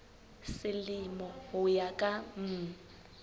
selemo ho ya ka mm